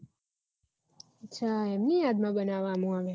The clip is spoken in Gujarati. અચ્છા એમની યાદ માં બનાવમાં આવે